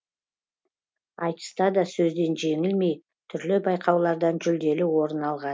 айтыста да сөзден жеңілмей түрлі байқаулардан жүлделі орын алған